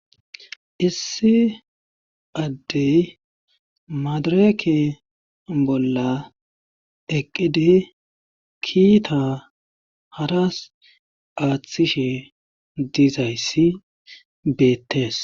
issi addey maadareke bolla eqqidi kiita haras aaththishe dizayssi beettes